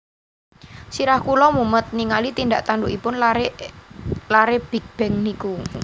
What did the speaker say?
Sirah kula mumet ningali tindak tandukipun lare lare Big Bang niku